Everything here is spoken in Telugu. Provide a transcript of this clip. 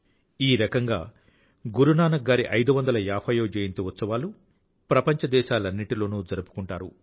ఈ రకంగా గురునానక్ గారి 550వ జయంతి ఉత్సవాలు ప్రపంచ దేశాలన్నింటిలోనూ జరుపుకుంటారు